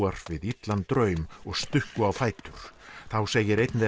við illan draum og stukku á fætur þá segir einn þeirra